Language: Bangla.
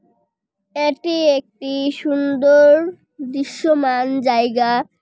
এটি একটি সুন্দর দৃশ্যমান জায়গা।